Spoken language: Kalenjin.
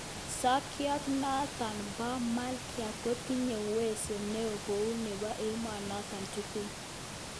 Sokyot notok po Mqlta kotindoi uwezo neo kou nepo emonotok tugul